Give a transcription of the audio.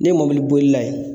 Ne ye mobili bolila ye